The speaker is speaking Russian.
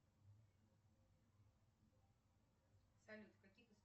салют в каких